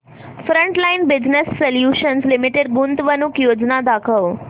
frontline Business Solutions Limited गुंतवणूक योजना दाखव